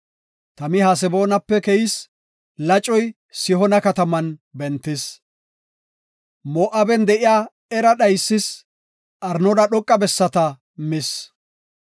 Tami Haseboonape keyis; lacoy Sihoona kataman bentis; Moo7aben de7iya Era dhaysis; Arnoona dhoqa bessata mis.